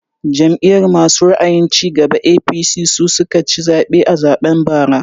Jam'iyar masu ra'ayin cigaba (APC) su suka ci zaɓe a zaɓen bara